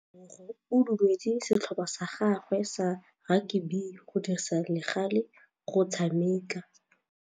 Tebogô o dumeletse setlhopha sa gagwe sa rakabi go dirisa le galê go tshameka.